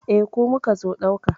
Eh, ku muka zo ɗauka.